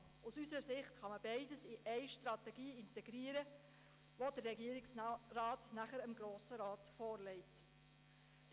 Beides lässt sich aus unserer Sicht in eine Strategie integrieren, die der Regierungsrat dem Grossen Rat vorlegen wird.